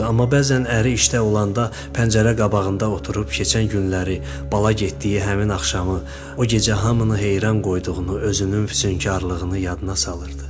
amma bəzən əri işdə olanda pəncərə qabağında oturub keçən günləri, bala getdiyi həmin axşamı, o gecə hamını heyran qoyduğunu, özünün füsunkarlığını yadına salırdı.